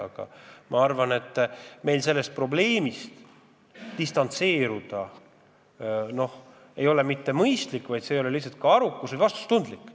Üldiselt arvan, et meil ei ole mõistlik sellest probleemist distantseeruda – see ei ole arukas ega ka vastutustundlik.